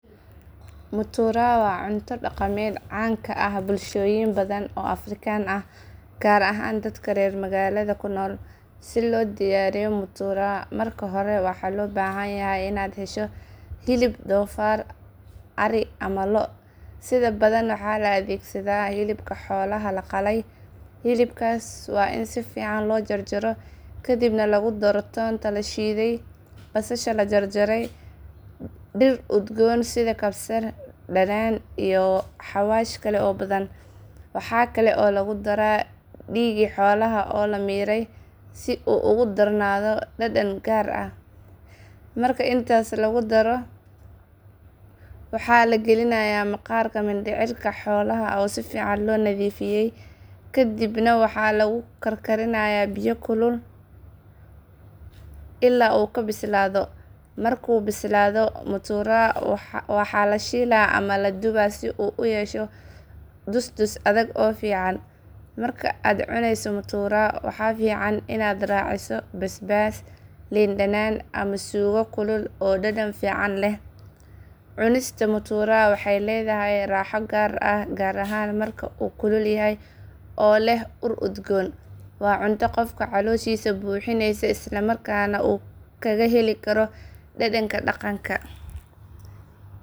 Mutura waa cunto dhaqameed caan ka ah bulshooyin badan oo Afrikaan ah, gaar ahaan dadka reer magaalada ku nool. Si loo diyaariyo mutura, marka hore waxaa loo baahan yahay inaad hesho hilib doofaar, ari ama lo’, sida badan waxaa la adeegsadaa hilibka xoolaha la qalay. Hilibkaas waa in si fiican loo jarjaro, kadibna lagu daro toonta la shiiday, basasha la jarjaray, dhir udgoon sida kabsar, dhanaan, iyo xawaash kale oo badan. Waxa kale oo lagu daraa dhiigii xoolaha oo la miiray si uu ugu darnaado dhadhan gaar ah. Marka intaas la isku daro, waxaa la gelinayaa maqaarka mindhicirka xoolaha oo si fiican loo nadiifiyey. Kadib waxaa lagu karkarinayaa biyo kulul ilaa uu ka bislaado. Markuu bislaado, mutura waxaa la shiilaa ama la dubaa si uu u yeesho dus dus adag oo fiican. Marka aad cunayso mutura, waxaa fiican inaad raaciso basbaas, liin dhanaan, ama suugo kulul oo dhadhan fiican leh. Cunista mutura waxay leedahay raaxo gaar ah, gaar ahaan marka uu kulul yahay oo leh ur udgoon, waa cunto qofka calooshiisa buuxinaysa isla markaana uu kaga heli karo dhadhanka dhaqanka. Mutura waa cunto dhaqameed caan ka ah bulshooyin badan oo Afrikaan ah, gaar ahaan dadka reer magaalada ku nool. Si loo diyaariyo mutura, marka hore waxaa loo baahan yahay inaad hesho hilib doofaar, ari ama lo’, sida badan waxaa la adeegsadaa hilibka xoolaha la qalay. Hilibkaas waa in si fiican loo jarjaro, kadibna lagu daro toonta la shiiday, basasha la jarjaray, dhir udgoon sida kabsar, dhanaan, iyo xawaash kale oo badan. Waxa kale oo lagu daraa dhiigii xoolaha oo la miiray si uu ugu darnaado dhadhan gaar ah. Marka intaas la isku daro, waxaa la gelinayaa maqaarka mindhicirka xoolaha oo si fiican loo nadiifiyey. Kadib waxaa lagu karkarinayaa biyo kulul ilaa uu ka bislaado. Markuu bislaado, mutura waxaa la shiilaa ama la dubaa si uu u yeesho dus dus adag oo fiican. Marka aad cunayso mutura, waxaa fiican inaad raaciso basbaas, liin dhanaan, ama suugo kulul oo dhadhan fiican leh. Cunista mutura waxay leedahay raaxo gaar ah, gaar ahaan marka uu kulul yahay oo leh ur udgoon, waa cunto qofka calooshiisa buuxinaysa isla markaana uu kaga heli karo dhadhanka dhaqanka.